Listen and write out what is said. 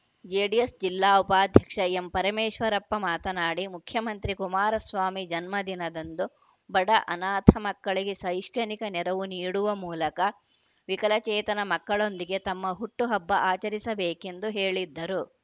JDS ಜಿಲ್ಲಾ ಉಪಾಧ್ಯಕ್ಷ ಎಂಪರಮೇಶ್ವರಪ್ಪ ಮಾತನಾಡಿ ಮುಖ್ಯಮಂತ್ರಿ ಕುಮಾರಸ್ವಾಮಿ ಜನ್ಮದಿನದಂದು ಬಡ ಅನಾಥ ಮಕ್ಕಳಿಗೆ ಶೈಕ್ಷಣಿಕ ನೆರವು ನೀಡುವ ಮೂಲಕ ವಿಕಲಚೇತನ ಮಕ್ಕಳೊಂದಿಗೆ ತಮ್ಮ ಹುಟ್ಟು ಹಬ್ಬ ಆಚರಿಸಬೇಕೆಂದು ಹೇಳಿದ್ದರು